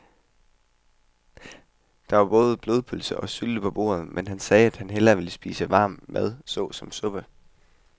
Der var både blodpølse og sylte på bordet, men han sagde, at han bare ville spise varm mad såsom suppe.